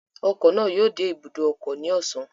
Ọkọ̀ náà yóò dé ibùdó ọkọ̀ ní ọ̀sán